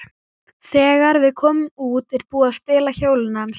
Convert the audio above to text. Þegar við komum út er búið að stela hjólinu hans.